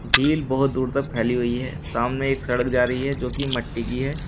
झील बहुत दूर तक फैली हुई है सामने एक सड़क जारी है जोकि मिट्टी की है।